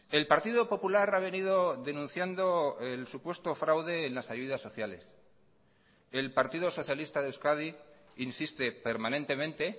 el partido popular ha venido denunciando el supuesto fraude en las ayudas sociales el partido socialista de euskadi insiste permanentemente